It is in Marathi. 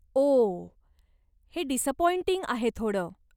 ओह, हे डिसअपॉइंटिंग आहे थोडं.